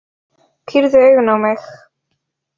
Pírði augun á mig.